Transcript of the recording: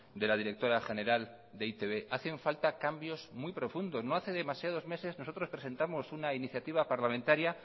de la directora general de e i te be hacen falta cambios muy profundos no hace demasiados meses nosotros presentamos una iniciativa parlamentaria